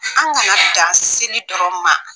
An kana dan sini dɔrɔn ma